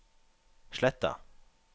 Sletta